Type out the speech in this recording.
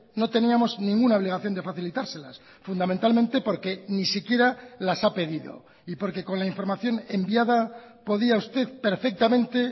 no teníamos ninguna obligación de facilitárselas fundamentalmente porque ni siquiera las ha pedido y porque con la información enviada podía usted perfectamente